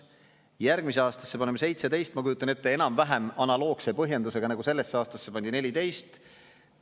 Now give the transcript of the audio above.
Järgmisse aastasse paneme 17 miljonit – ma kujutan ette, enam-vähem analoogse põhjendusega, nagu sellesse aastasse pandi 14 miljonit.